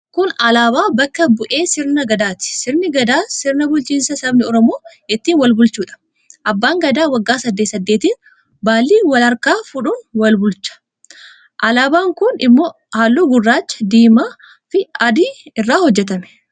Kun alaabaa bakka bu'ee Sirna Gadaati. Sirni Gadaa sirna bulchiinsaa sabni Oromoo ittiin wal bulchuudha. Abbaan Gadaa waggaa saddeet saddeetiin baallii wal harkaa fuudhuun wal bulchu. Alaabaan kun immoo halluu gurraacha, diimaafi adii irraa hojjetame.